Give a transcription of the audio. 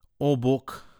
O, bog.